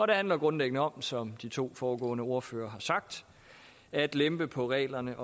det handler grundlæggende om som de to foregående ordførere har sagt at lempe på reglerne